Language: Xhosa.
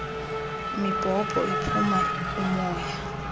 mibhobho iphuma umoya